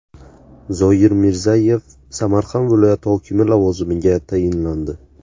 Zoyir Mirzayev Samarqand viloyati hokimi lavozimiga tayinlandi.